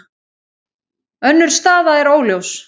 Önnur staða er óljós.